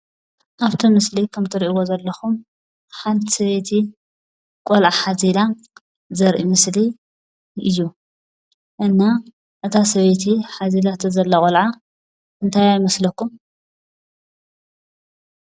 ኣብቲ ምስሊ ከምቲ ትሪእዎ ዘለኹም ሓንቲ ሰበይቲ ቆልዓ ሓዚላ ዘርኢ ምስሊ እዩ። እና እታ ሰበይቲ ሓዚላቶ ዘላ ቖልዓ እንታያ ይመስለኩም?